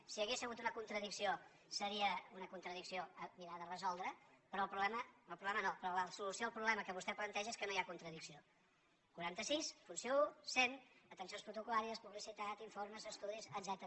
si hi hagués hagut una contradicció seria una contradicció per mirar de resoldre la però la solució al problema que vostè planteja és que no hi ha contradicció quaranta sis funció un cent atencions protocol·làries publicitat informes estudis etcètera